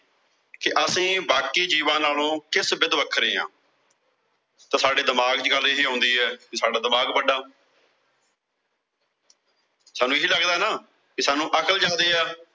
ਕਿ ਅਸੀਂ ਬਾਕੀ ਜੀਵਾਂ ਨਾਲੋਂ ਕਿਸ ਬਿਧ ਵੱਖਰੇ ਆਂ। ਤਾਂ ਸਾਡੇ ਦਿਮਾਗ ਚ ਗੱਲ ਇਹੀ ਆਉਂਦੀ ਆ ਵੀ ਸਾਡਾ ਦਿਮਾਗ ਵੱਡਾ ਸਾਨੂੰ ਇਹ ਲਗਦਾ ਨਾ ਕਿ ਸਾਨੂੰ ਅਕਲ ਜ਼ਿਆਦੇ ਆ।